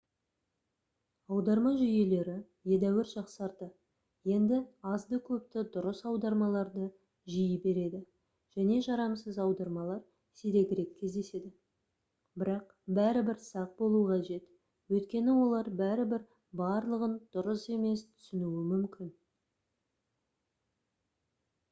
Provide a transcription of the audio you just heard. аударма жүйелері едәуір жақсарды енді азды-көпті дұрыс аудармаларды жиі береді және жарамсыз аудармалар сирегірек кездеседі бірақ бәрібір сақ болу қажет өйткені олар бәрібір барлығын дұрыс емес түсінуі мүмкін